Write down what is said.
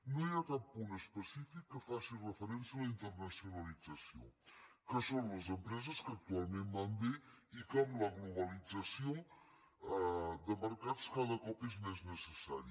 no hi ha cap punt específic que faci referència a la internacionalització que són les empreses que actualment van bé i que amb la globalització de mercats cada cop és més necessari